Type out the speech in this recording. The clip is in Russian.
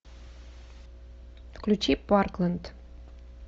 включи парклэнд